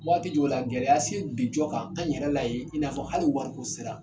Waati jɔw la gɛlɛya se bin jɔ kan an yɛrɛ la yi i n'a fɔ hali wariko sira.